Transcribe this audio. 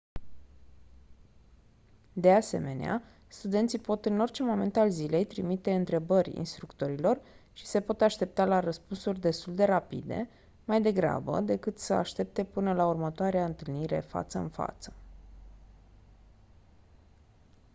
de asemenea studenții pot în orice moment al zilei trimite întrebări instructorilor și se pot aștepta la răspunsuri destul de rapide mai degrabă decât să aștepte până la următoarea întâlnire față în față